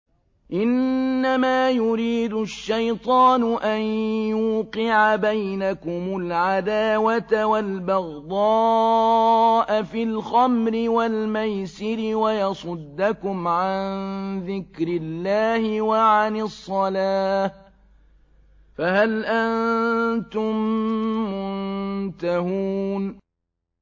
إِنَّمَا يُرِيدُ الشَّيْطَانُ أَن يُوقِعَ بَيْنَكُمُ الْعَدَاوَةَ وَالْبَغْضَاءَ فِي الْخَمْرِ وَالْمَيْسِرِ وَيَصُدَّكُمْ عَن ذِكْرِ اللَّهِ وَعَنِ الصَّلَاةِ ۖ فَهَلْ أَنتُم مُّنتَهُونَ